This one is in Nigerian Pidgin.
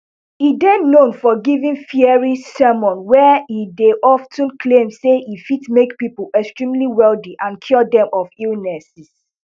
e dey known for giving fiery sermons wia e dey of ten claim say e fit make pipo extremely wealthy and cure dem of illnesses